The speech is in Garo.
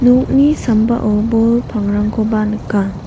sambao bol pangrangkoba nika.